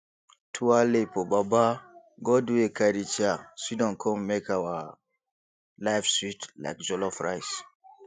twaale for baba god wey carry chair sidon con make our life sweet like jollof rice